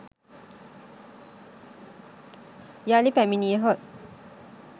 යළි පැමිණියහොත්